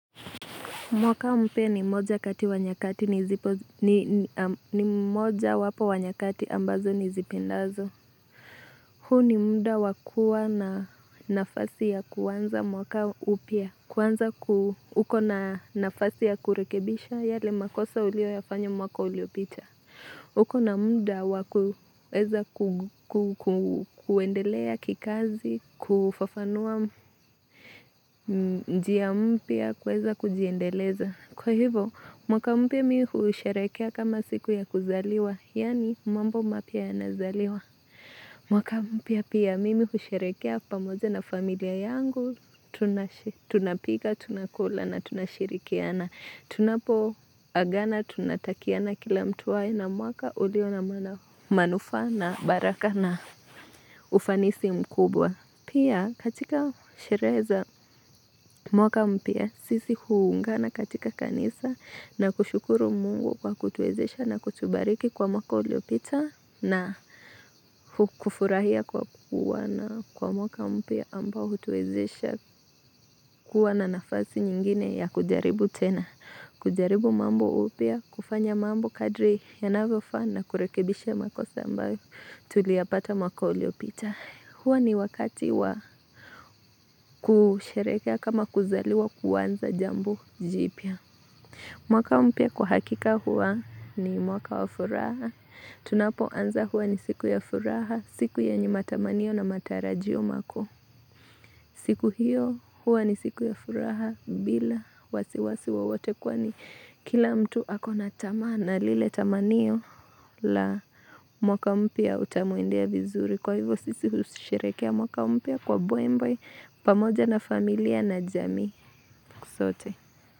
Mwaka mpya ni moja kati wanyakati, ni moja wapo wanyakati ambazo nizipendazo. Huo ni muda wakua na nafasi ya kuanza mwaka upya. Kuanza kuu, uko na nafasi ya kurekebisha yale makosa uliyafanyo mwaka ulio picha. Ukona muda wakuweza kuendelea kikazi, kufafanua njia mpya kuweza kujiendeleza. Kwa hivo, mwaka mpya mimi husherehekea kama siku ya kuzaliwa, yaani mambo mpya ya nazaliwa. Mwaka mpya pia mimi husheherekea pamoja na familia yangu, tunapika, tunakula na tunashirikiana. Tunapo agana tunatakiana kila mtu awe na mwaka uliwao na manufaa na baraka na ufanisi mkubwa. Pia katika sherehe mwaka mpya sisi huungana katika kanisa na kushukuru mungu kwa kutuezesha na kutubariki kwa mwaka uliopita na kufurahia kwa mwaka mpya ambao kutuezesha kwa na nafasi nyingine ya kujaribu tena. Kujaribu mambo upya, kufanya mambo kadri yanavyofaa na kurekebisha makosa ambayo tulia pata mwaka uliyopita Hua ni wakati wa kusherekea kama kuzaliwa kuaanza jambu jipia mwaka mpya kwa hakika huwa ni mwaka wa furaha Tunapo anza hua ni siku ya furaha, siku ya yenye matamanio na matarajio makuu siku hiyo huwa ni siku ya furaha bila wasiwasi wowote kwa ni kila mtu akona tamaa na lile tamanio la mwaka mpya utamwemdea vizuri kwa hivyo sisi husherehekea mwaka mpya kwa mbwebwe pamoja na familia na jamii sote.